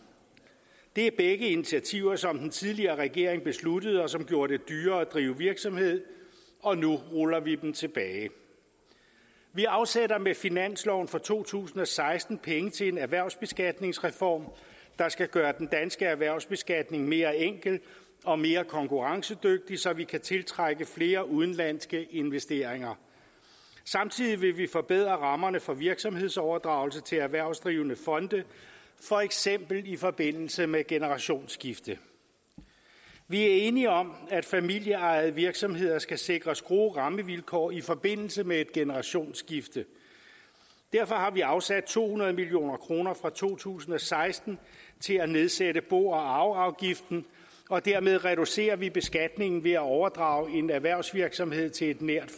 det er begge initiativer som den tidligere regering besluttede og som gjorde det dyrere at drive virksomhed og nu ruller vi dem tilbage vi afsætter med finansloven for to tusind og seksten penge til en erhvervsbeskatningsreform der skal gøre den danske erhvervsbeskatning mere enkel og mere konkurrencedygtig så vi kan tiltrække flere udenlandske investeringer samtidig vil vi forbedre rammerne for virksomhedsoverdragelse til erhvervsdrivende fonde for eksempel i forbindelse med generationsskifte der er enighed om at familieejede virksomheder skal sikres gode rammevilkår i forbindelse med et generationsskifte derfor har vi afsat to hundrede million kroner fra to tusind og seksten til at nedsætte bo og arveafgiften og dermed reducerer vi beskatningen ved at overdrage en erhvervsvirksomhed til et nært